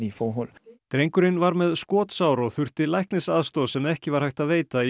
drengurinn var með skotsár og þurfti læknisaðstoð sem ekki var hægt að veita í